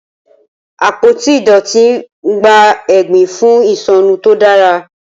Apoti idọti n gba egbin fun isọnu to dara.